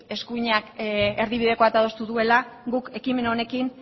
eskuinak erdibideko bat adostu duela guk ekimen honekin